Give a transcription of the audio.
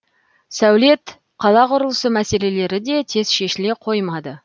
сәулет қала құрылысы мәселелері де тез шешіле қоймады